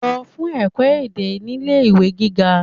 Lo fun eko ede nile iwe giga